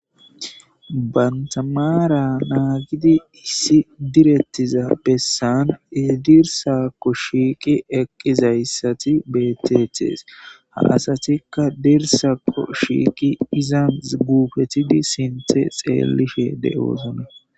Bantamara naagidi issi direttiza bessan edirsakko shiiqi eqqizayssati beettethees ha asatikka dirsakko shiiqi izan guupetidi sinthe xeellishe de7oosone.